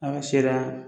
A ka se ka